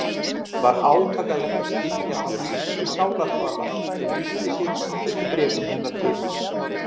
Var átakanlegt að skynja það hyldýpi sálarkvalar sem lýsti sér í síðustu bréfum hennar til